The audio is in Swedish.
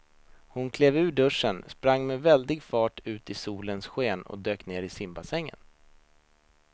Hon klev ur duschen, sprang med väldig fart ut i solens sken och dök ner i simbassängen.